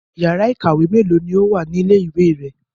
Ìyàrá-iìkàwé mélòó ni ó wà ní ilé-ìwé rẹ?